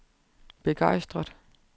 begejstret